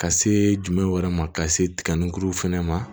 Ka see dumɛnw wɛrɛ ma ka se tiga kuruw fɛnɛ ma